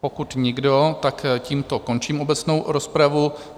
Pokud nikdo, tak tímto končím obecnou rozpravu.